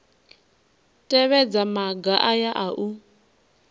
tevhedza maga aya a u